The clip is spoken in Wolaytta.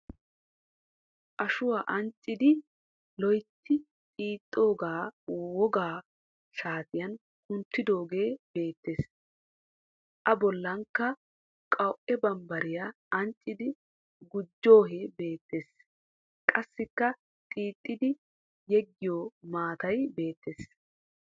Ashuwa anccidi loyitti xiixxoogaa wogga shaatiyan kunttidoogee beettes. A bollankka qawu"e bambbarya anccidi gujjoohee beettes. Qassikka xiixxiiddi yeggiyo maatay beettes.